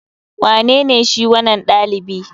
Wanene shi wanan dalibi?